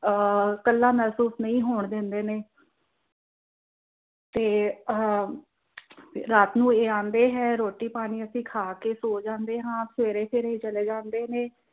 ਅਹ ਕੱਲਾ ਮਹਿਸੂਸ ਨਹੀਂ ਹੋਣ ਦਿੰਦੇ ਨੇ ਤੇ ਆਹ ਰਾਤ ਨੂੰ ਇਹ ਆਂਦੇ ਹੈ ਰੋਟੀ ਪਾਣੀ ਅਸੀਂ ਖਾ ਕਿ ਸੋ ਜਾਂਦੇ ਹਾਂ ਫਿਰ ਇਹ ਸਵੇਰੇ ਚਲੇ ਜਾਂਦੇ ਨੇ